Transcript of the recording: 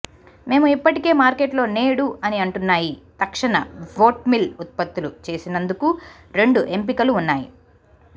మేము ఇప్పటికే మార్కెట్లో నేడు అని అంటున్నాయి తక్షణ వోట్మీల్ ఉత్పత్తులు చేసినందుకు రెండు ఎంపికలు ఉన్నాయి